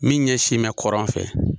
Min ɲɛsinnen bɛ kɔrɔn fɛ.